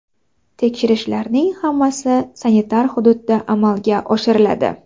Tekshirishlarning hammasi sanitar hududda amalga oshiriladi.